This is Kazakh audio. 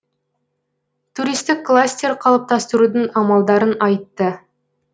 туристік кластер қалыптастырудың амалдарын айтты